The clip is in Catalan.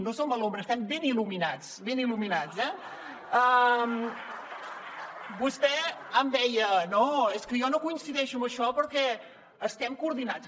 no som a l’ombra estem ben il·luminats ben il·luminats eh vostè em deia no és que jo no coincideixo en això perquè estem coordinats